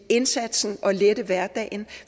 indsatsen og lette hverdagen